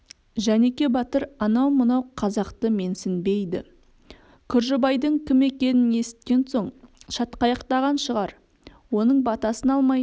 жәнеке батыр анау мынау қазақты менсінбейді күржібайдың кім екенін есіткен соң шатқаяқтанған шығар оның батасын алмай